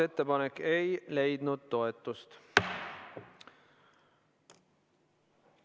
Ettepanek ei leidnud toetust.